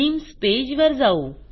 themes page वर जाऊ